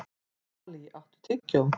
Dalí, áttu tyggjó?